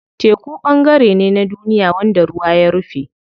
Teku ɓangare ne na duniya wanda ruwa ya rufe.